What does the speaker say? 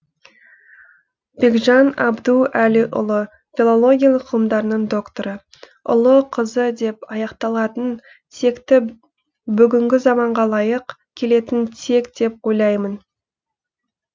бекжан әбдуәлиұлы филология ғылымдарының докторы ұлы қызы деп аяқталатын текті бүгінгі заманға лайық келетін тек деп ойлаймын